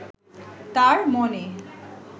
তাঁর মনে